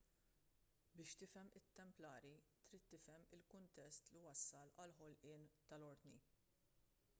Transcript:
biex tifhem lit-templari trid tifhem il-kuntest li wassal għall-ħolqien tal-ordni